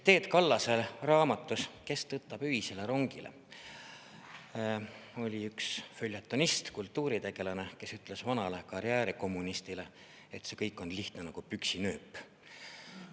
Teet Kallase raamatus "Kes tõttab öisele rongile" oi üks följetonist, kultuuritegelane, kes ütles vanale karjäärikommunismile: "See kõik on lihtne nagu püksinööp.